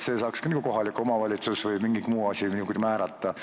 Seda peaks ka kohalik omavalitsus kuidagi saama määrata.